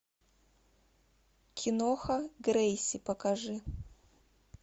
киноха грейси покажи